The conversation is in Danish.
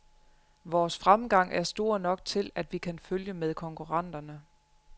Vores fremgang er stor nok til, at vi kan følge med konkurrenterne.